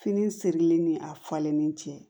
Fini sirilen ni a falennen cɛ